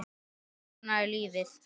En svona er lífið.